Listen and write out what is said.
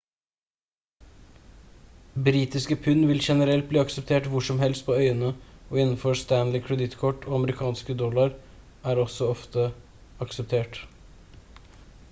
britiske pund vil generelt bli akseptert hvor som helst på øyene og innenfor stanley-kredittkort og amerikanske dollar er også ofte akseptert